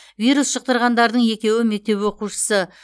вирус жұқтырғандардың екеуі мектеп оқушысы